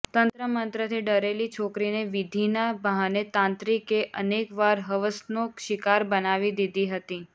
તંત્ર મંત્રથી ડરેલી છોકરીને વિધિના બહાને તાંત્રિકે અનેકવાર હવસનો શિકાર બનાવી દીધી હતી